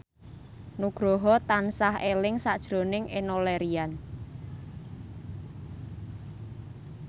Nugroho tansah eling sakjroning Enno Lerian